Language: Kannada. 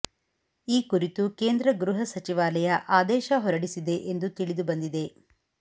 ಈ ಕುರಿತು ಕೇಂದ್ರ ಗೃಹ ಸಚಿವಾಲಯ ಆದೇಶ ಹೊರಡಿಸಿದೆ ಎಂದು ತಿಳಿದು ಬಂದಿದೆ